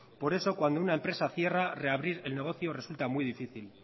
por eso cuando una empresa cierra reabrir el negocio resulta muy difícil